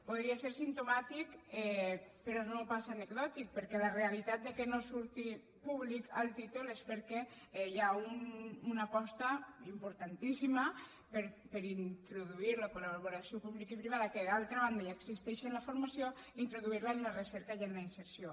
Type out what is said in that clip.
podria ser simptomàtic però no pas anecdòtic perquè la realitat que no surti públic al títol és perquè hi ha una aposta importantíssima per introduir la col·laboració publicoprivada que d’altra banda ja existeix en la formació introduir la en la recerca i en la inserció